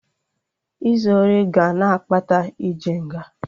Izu ori ga na-akpata ije nga